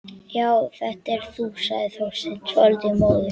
Já, þetta ert þú sagði Þorsteinn, svolítið móður.